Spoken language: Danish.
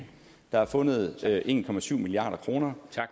der er fundet en milliard